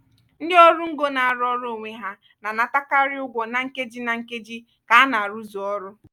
ndị ọrụ ngo na-arụ ọrụ onwe ha na-anatakarị ugwo na nkeji na nkeji ka a na-arụzu ọrụ.